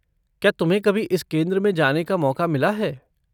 क्या तुम्हें कभी इस केंद्र में जाने का मौका मिला है?